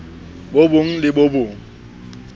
bo bong le bo bong